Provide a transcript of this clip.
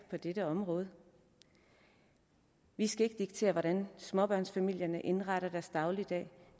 på dette område vi skal ikke diktere hvordan småbørnsfamilierne indretter deres dagligdag og